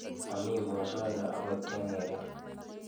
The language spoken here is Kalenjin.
Momii mosongik akot cheng'ering'.